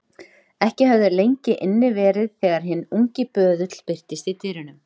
Ekki höfðu þeir lengi inni verið þegar hinn ungi böðull birtist í dyrunum.